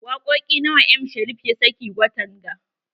Wakoƙi nawa M Sharif ya sake watan ga?